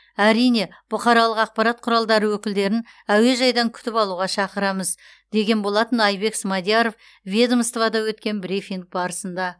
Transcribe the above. әрине бұқаралық ақпарат құралдары өкілдерін әуежайдан күтіп алуға шақырамыз деген болатын айбек смадияров ведомствода өткен брифинг барысында